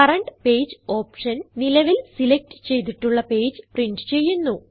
current page option നിലവിൽ select ചെയ്തിട്ടുള്ള page print ചെയ്യുന്നു